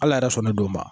Ala yɛrɛ sɔn ne don o ma